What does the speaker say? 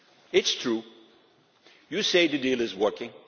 It is true you say the deal is working.